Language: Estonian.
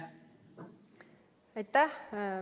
Aitäh!